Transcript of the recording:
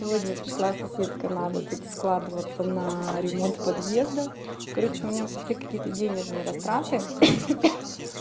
сегодня пришла соседка надо тут складываться на ремонт подъезда короче у меня пошли какие-то денежные растраты